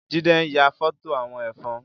Jide n yà fọtó awọn ẹfọn